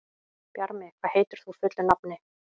Bjarmi, hvað heitir þú fullu nafni?